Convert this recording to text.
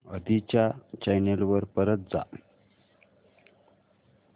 आधी च्या चॅनल वर परत जा